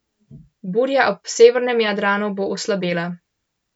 Burja ob severnem Jadranu bo oslabela.